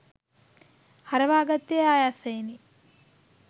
හරවාගත්තේ ආයාසයෙනි